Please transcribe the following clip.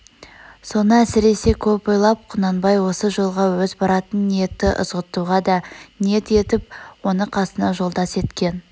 соны әсресе көп ойлап құнанбай осы жолға өз баратын ниетті ызғұттыға да ниет етп оны қасына жолдас еткен